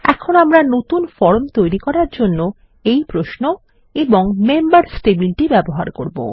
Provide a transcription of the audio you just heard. এখন আমরা নতুন ফর্ম তৈরি করার জন্য এই প্রশ্ন এবং মেম্বার্স টেবিলটি ব্যবহার করব